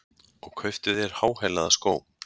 Og kauptu þér háhælaða skó!